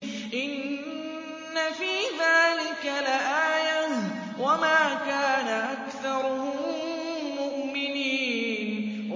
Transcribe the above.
إِنَّ فِي ذَٰلِكَ لَآيَةً ۖ وَمَا كَانَ أَكْثَرُهُم مُّؤْمِنِينَ